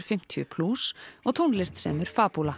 fimmtíu og tónlist semur